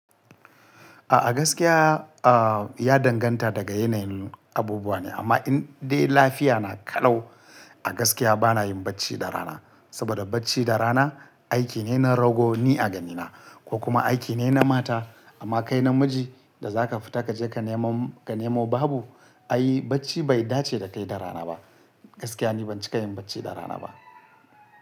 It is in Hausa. A gaskiya, ya danganta daga yanayin abubuwa ne. Amma in dai lafiya na kalau, a gaskiya bana yin bacci da rana. Saboda bacci da rana aiki ne na rogo ni a ganina ko kuma aiki ne na mata. Amma kai namiji da za ka fita ka je ka nemo babu, ai bacci bai dace da kai da rana ba. Gaskiya ni ban cika yin bacci da rana ba.